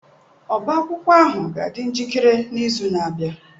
Ọbá akwụkwọ ahụ ga-adị njikere n'izu na-abịa.